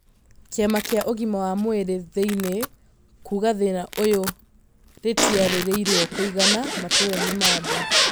Kĩama kĩa ũgima wa mwĩrĩ thĩinĩ kuga thĩna ũyũ rĩtiarĩrĩirio kũigana matũrainĩ ma andũ.